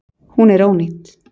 Hún er ónýt